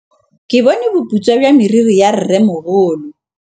Ke bone boputswa jwa meriri ya rrêmogolo.